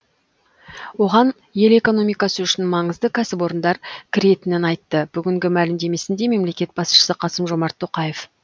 оған ел экономикасы үшін маңызды кәсіпорындар кіретінін айтты бүгінгі мәлімдесінде мемлекет басшысы қасым жомарт тоқаев